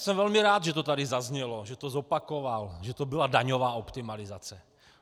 Jsem velmi rád, že to tady zaznělo, že to zopakoval, že to byla daňová optimalizace.